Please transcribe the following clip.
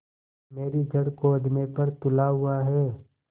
मेरी जड़ खोदने पर तुला हुआ है